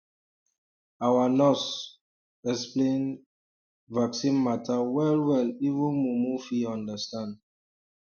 our nurse um explain um vaccine matter wellwell even mumu fit understand